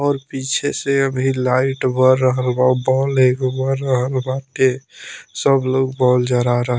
और पीछे से अभी लाइट बर रहल बा बॉल एगो बर रहल बा के सब लोग बॉल जरा रहल --